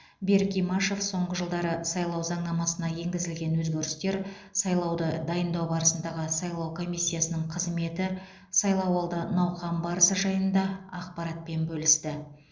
берік имашев соңғы жылдары сайлау заңнамасына енгізілген өзгерістер сайлауды дайындау барысындағы сайлау комиссиясының қызметі сайлауалды науқан барысы жайында ақпаратпен бөлісті